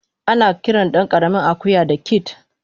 Anakiran dankaramin akuya da "kid"